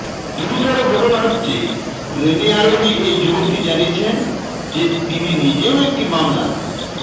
গুরুতর ঘটনা হচ্ছে ট্রেনে আরোহী এই যুবকটি জানিয়েছেন যে তিনি নিজেও একটি মামলায়